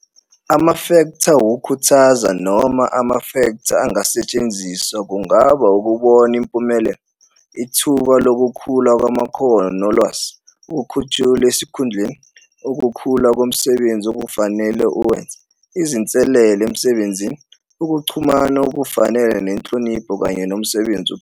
Amafektha okukhuthaza noma amafektha angasetshenziswa kungaba ukubona impumelelo, ithuba lokukhula kwamakhono nolwazi, ukukhushulwa esikhundleni, ukhula komsebenzi okufanele uwenze, izinselelo emsebenzini, ukuxhumana okufanele nenhlonipho kanye nomsebenzi uqobo.